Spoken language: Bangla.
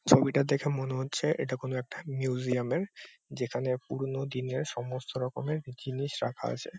ছবিটা দেখে মনে হচ্ছে এটা কোন একটা মিউজিয়াম এর যেখানে পুরনো দিনের সমস্ত রকমের জিনিস রাখা আছে।